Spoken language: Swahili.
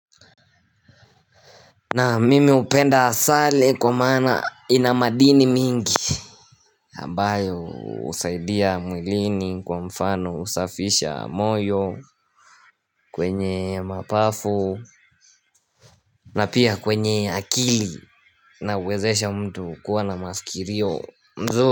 Na mimi hupenda asali kwa mana ina madini mingi ambayo husaidia mwilini kwa mfano husafisha moyo kwenye mapafu na pia kwenye akili na huwezesha mtu kuwa na mafikirio mazuri.